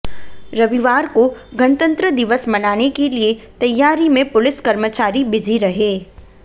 रविवार को गणतंत्र दिवस मनाने के लिए तैयारी में पुलिस कर्मचारी बिजी रहे